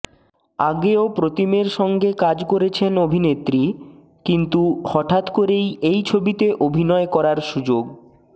আগেও প্রতীমের সঙ্গে কাজ করেছেন অভিনেত্রী কিন্তু হঠাৎ করেই এই ছবিতে অভিনয় করার সুযোগ